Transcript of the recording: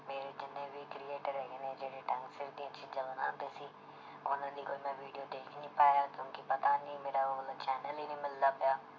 ਮੇਰੇ ਜਿੰਨੇ ਵੀ creater ਹੈਗੇ ਨੇ ਜਿਹੜੇ ਢੰਗ ਸਿਰ ਦੀਆਂ ਚੀਜ਼ਾਂ ਬਣਾਉਂਦੇ ਸੀ ਉਹਨਾਂ ਦੀ ਕੋਈ ਮੈਂ video ਦੇਖ ਹੀ ਨੀ ਪਾਇਆ ਕਿਉਂਕਿ ਪਤਾ ਨੀ ਮੇਰਾ ਉਹ ਵਾਲਾ channel ਹੀ ਨੀ ਮਿਲਦਾ ਪਿਆ